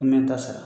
N bɛ n ta sara